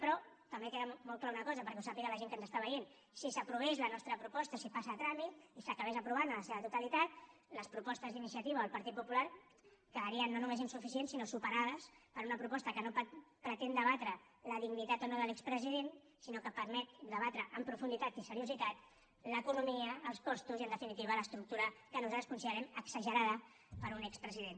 però també queda clara una cosa perquè ho sàpiga la gent que ens està veient si s’aprovés la nostra proposta si passés a tràmit i s’acabés aprovant en la seva totalitat les propostes d’iniciativa o el partit popular quedarien no només insuficients sinó superades per una proposta que no pretén debatre la dignitat o no de l’expresident sinó que permet debatre en profunditat i amb seriositat l’economia els costos i en definitiva l’estructura que nosaltres considerem exagerada per a un expresident